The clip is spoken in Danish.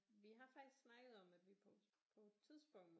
Vi har faktisk snakket om at vi på på et tidspunkt